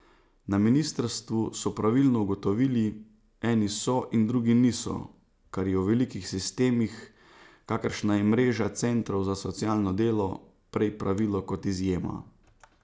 Na ministrstvu so pravilno ugotovili, eni so in drugi niso, kar je v velikih sistemih, kakršna je mreža centrov za socialno delo, prej pravilo kot izjema.